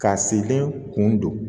Ka selen kun don